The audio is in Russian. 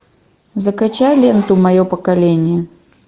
закачай ленту мое поколение